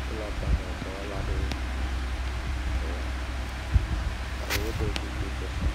Sola panel dɔwɔla aɖewo edɔ wɔm ke woɖo kuku sese.